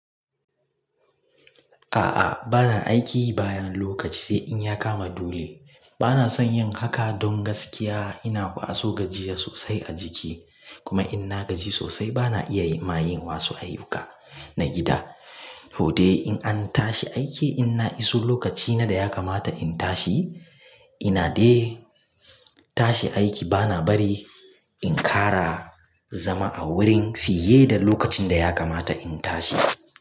A'a, bana aiki bayan lokaci sai in ya kama dule. Bana son yin haka don gaskiya ina kwaso gajiya sosai a jiki. Kuma in na gaji sosai bana iya ma yin wasu ayyuka na gida. To dai in an tashi aiki, in na iso lokaci na da ya kamata in tashi, ina dai tashi aiki bana bari in ƙara zama a wurin fiye da lokacin da ya kamata in tashi.